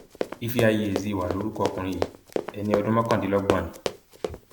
ìfẹáyí ezinwa lorúkọ ọkùnrin yìí ẹni ọdún mọkàndínlọgbọn ni